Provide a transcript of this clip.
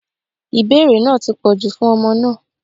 Ìbéèrè náà ti pọ̀jù fún ọmọ náà.